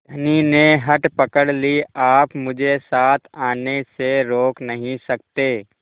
धनी ने हठ पकड़ ली आप मुझे साथ आने से रोक नहीं सकते